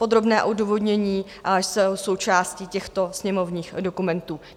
Podrobná odůvodnění jsou součástí těchto sněmovních dokumentů.